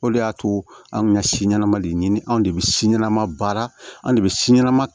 O de y'a to anw kun ka si ɲɛnɛma de ɲini anw de bɛ si ɲanama baara an de bɛ si ɲɛnɛma